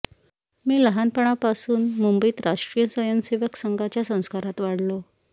मी लहानपणापासून मुंबईत राष्ट्रीय स्वयंसेवक संघाच्या संस्कारात वाढलो